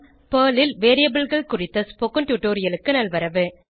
Perl ல் variableகள் குறித்த ஸ்போகன் டுடோரியலுக்கு நல்வரவு